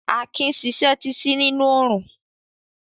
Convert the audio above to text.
Akin sisẹ́ títí nínú orún